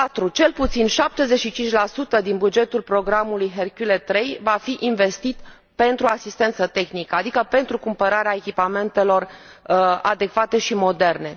Cel puțin 75 din bugetul programului Hercule III va fi investit pentru asistență tehnică, adică pentru cumpărarea echipamentelor adecvate și moderne.